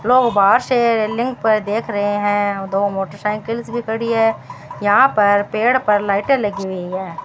लोग बाहर से पर देख रहे हैं दो मोटरसाइकिल्स भी खड़ी है यहां पर पेड़ पर लाइटे लगी हुई हैं।